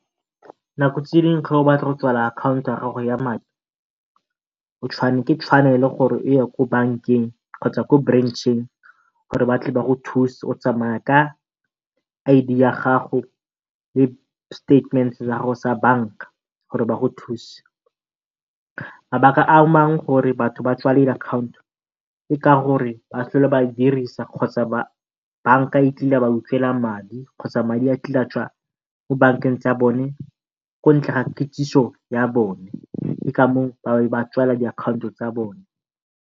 Nako tse dingwe o batla go akhanto ya gago ya madi, ke tshwanelo gore o ye ko bankeng kgotsa ko branch-eng gore ba tle ba go thuse. O tsamaya ka I_D ya gago le statement-e sa gago sa banka gore ba go thuse. Mabaka a mangwe gore batho ba tswalele akhanoto ke ka gore ba sa tlhole ba dirisa kgotsa banka ikile ya ba madi kgotsa madi a kile a tswa ko bankeng tsa bone ga kitsiso ya bone, ke ka moo ba tswalang diakhaonto tsa bone.